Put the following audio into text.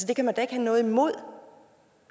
det kan man da ikke har noget imod